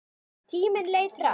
Tíminn leið hratt.